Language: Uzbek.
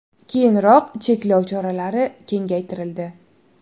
Keyinroq cheklov choralari kengaytirildi.